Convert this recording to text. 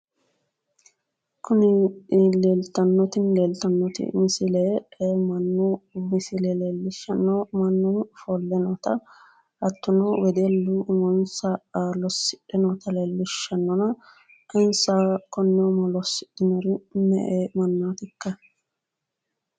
Kuni leellitanoti misile mannu misile leelishshano mannu offole noota hattono wedellu umonsa losidhe noota lelishanona insa konne umo losidhinor me'ehokka